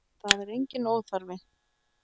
Það er enginn óþarfi.